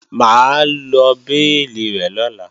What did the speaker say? Mà á lọ béèlì rẹ̀ lọ́la